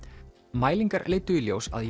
mælingar leiddu í ljós að